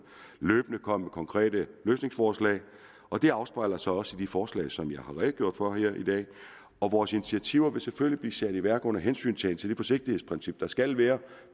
løbende at komme med konkrete løsningsforslag og det afspejler sig også i de forslag som jeg har redegjort for her i dag og vores initiativer vil selvfølgelig blive sat i værk under hensyntagen til det forsigtighedsprincip der skal være